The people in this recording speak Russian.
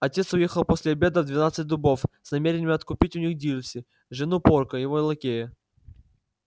отец уехал после обеда в двенадцать дубов с намерением откупить у них дилси жену порка его лакея